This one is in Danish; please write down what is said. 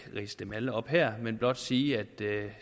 ridse dem alle op her men blot sige at det